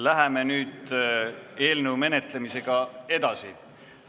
Läheme nüüd eelnõu menetlemisega edasi.